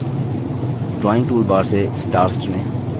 drawing toolbar से stars चुनें